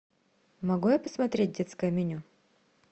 могу я посмотреть детское меню